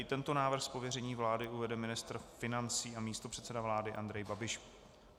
I tento návrh z pověření vlády uvede ministr financí a místopředseda vlády Andrej Babiš.